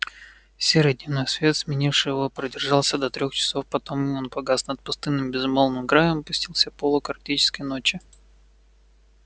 серый дневной свет сменивший его продержался до трёх часов потом и он погас и над пустынным безмолвным краем опустился полог арктической ночи